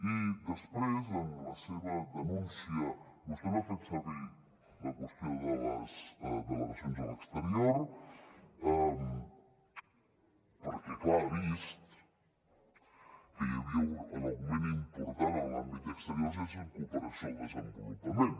i després en la seva denúncia vostè no ha fet servir la qüestió de les delegacions a l’exterior perquè clar ha vist que l’augment important en l’àmbit d’exteriors és en cooperació al desenvolupament